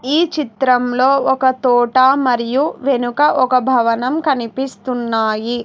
ఈ చిత్రంలో ఒక తోట మరియు వెనుక ఒక భవనం కనిపిస్తున్నాయి.